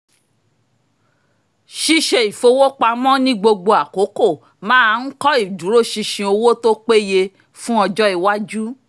ṣíṣe ìfowópamọ́ ní gbogbo àkókò máa ń kọ́ ìdúróṣinṣin owó tó péye fún ọjọ́ iwájú